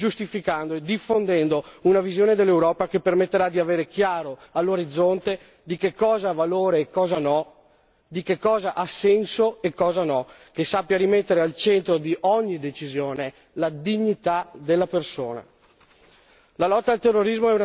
In altre parole fondando, giustificando e diffondendo una visione dell'Europa che permetterà di avere chiaro all'orizzonte che cosa ha valore e cosa no, che cosa ha senso e cosa no, che sappia rimettere al centro di ogni decisione la dignità della persona.